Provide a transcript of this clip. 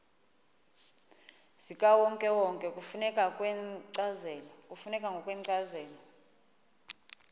zikawonkewonke kufuneka ngokwencazelo